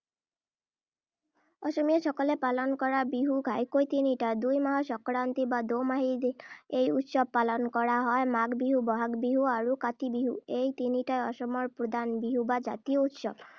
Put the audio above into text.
অসমীয়াসকলে পালন কৰা বিহু ঘাইকৈ তিনিটা। দুই মাহৰ সংক্ৰান্তি বা দোমাহীৰ দিনা এই উৎসৱ পালন কৰা হয়। মাঘ বিহু, বহাগ বিহু আৰু কাতি বিহু, এই তিনিটাই অসমৰ প্ৰধান বিহু বা জাতীয় উৎসৱ।